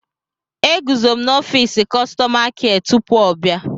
Eguzo m n'ọfịs kọstọma kịa tupu ọ bịa.